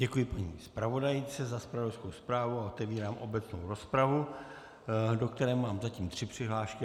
Děkuji paní zpravodajce za zpravodajskou zprávu a otevírám obecnou rozpravu, do které mám zatím tři přihlášky.